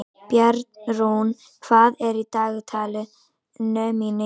Bjarnrún, hvað er í dagatalinu mínu í dag?